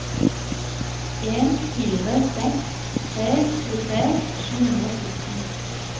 en fire seks tre tjuetre sju hundre og sytten